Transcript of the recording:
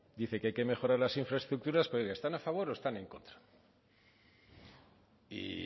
dice que hay que mejorar las infraestructuras pero oiga están a favor o están en contra y